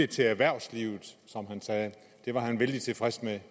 til erhvervslivet det var han vældig tilfreds med